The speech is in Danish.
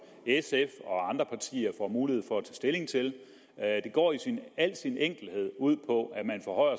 sf og andre partier får mulighed for at tage stilling til det går i al sin enkelhed ud på at man forhøjer